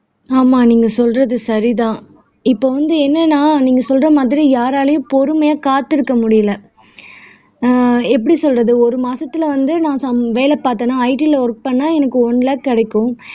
ஆமா நீங்க சொல்றது சரிதான். இப்ப வந்து என்னன்னா நீங்க சொல்ற மாதிரி யாராலயும் பொறுமையா காத்திருக்க முடியல ஆஹ் எப்படி சொல்றது ஒரு மாசத்துல வந்து நான் சாம் வேலை பார்த்தேனா IT ல ஒர்க் பண்ணா எனக்கு ஒன் லேக் கிடைக்கும்